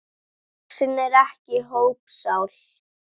Sjáðu, hér er þessi mynd.